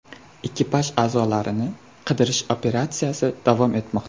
Ekipaj a’zolarini qidirish operatsiyasi davom etmoqda.